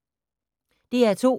DR2